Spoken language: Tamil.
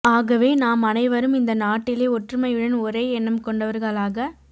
ஆகவே நாம் அனைவரும் இந்த நாட்டிலே ஒற்றுமையுடன் ஒரே எண்ணம் கொண்டவர்களாக